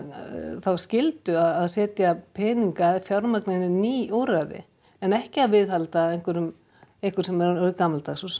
þá skyldu að setja peninga og fjármuni í úrræði en ekki að viðhalda einhverju einhverju sem er orðið gamaldags og